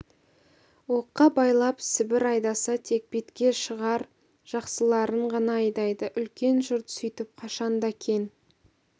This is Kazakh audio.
оққа байлап сібір айдаса тек бетке шығар жақсыларын ғана айдайды үлкен жұрт сөйтіп қашан да кең